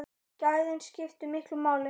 Gæðin skiptu miklu máli.